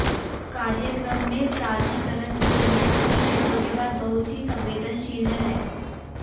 कार्यक्रम में प्राधिकरण के लिए सभी क्षेत्रों के बाद बहुत ही संवेदनशील है